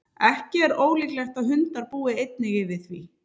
ekki er ólíklegt að hundar búi einnig yfir því